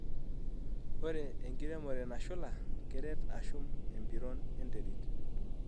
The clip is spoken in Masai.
Ore enkiremore nashula keret ashum empiron enterit.